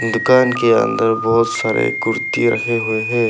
दुकान के अंदर बहुत सारे कुर्ती रहे हुए हैं।